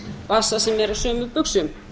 vasa sem er á sömu buxum